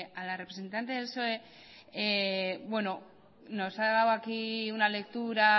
a la representante del psoe nos ha dado aquí una lectura